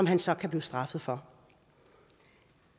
han så kan blive straffet for